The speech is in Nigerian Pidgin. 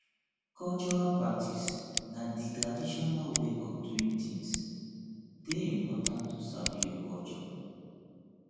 cultural practice na di traditional way of doing things de important to sabi your culture